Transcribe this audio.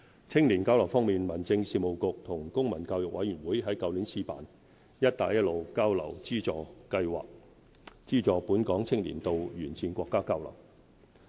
青年交流方面，民政事務局與公民教育委員會於去年試辦"'一帶一路'交流資助計劃"，資助本港青年到沿線國家交流。